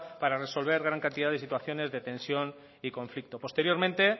para resolver gran cantidad de situaciones de tensión y conflicto posteriormente